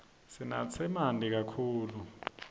sinatse manti kakhulu